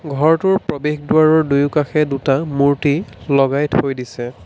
ঘৰটোৰ প্ৰবেশ দুৱাৰৰ দুয়ো কাষে দুটা মূৰ্ত্তি লগাই থৈ দিছে।